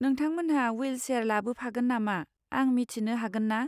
नोंथांमोनहा विलसेयार लाबोफागोन नामा आं मिथिनो हागोन ना?